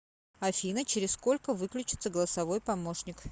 афина через сколько выключится голосовой помощник